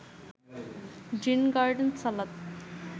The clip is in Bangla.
green garden salad